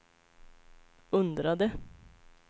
undrade